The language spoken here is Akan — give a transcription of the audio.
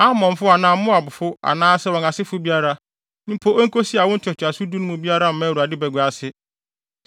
Amonfo anaa Moabfo anaasɛ wɔn asefo biara, mpo enkosi awo ntoatoaso du no mu biara mma Awurade bagua ase.